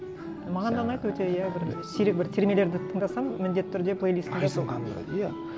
маған да ұнайды өте иә бір сирек бір термелерді тыңдасам міндетті түрде плейлистымда сол